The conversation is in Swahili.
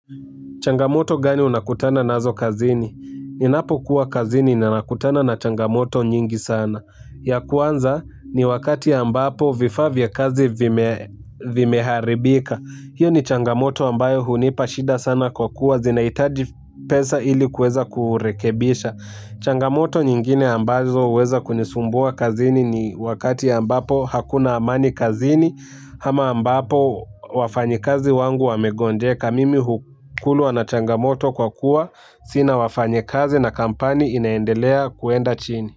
Changamoto gani unakutana nazo kazini? Ninapokuwa kazini nakutana na changamoto nyingi sana. Ya kwanza ni wakati ambapo vifaa vya kazi vimeharibika. Hiyo ni changamoto ambayo hunipa shida sana kwa kuwa zinahitaji pesa ili kuweza kurekebisha. Changamoto nyingine ambazo huweza kunisumbua kazini ni wakati ambapo hakuna amani kazini, ama ambapo wafanyikazi wangu wamegonjeka. Mimi hukuluwa na changamoto kwa kuwa, sina wafanyikazi na kampani inaendelea kuenda chini.